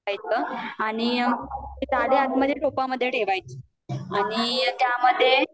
आणि आणि जाली आत मध्ये मध्ये ठेवायची आणि त्या मध्ये